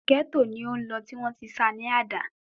Gẹ́tò ni ó lọ, tí wọ́n tí ṣa ní àdá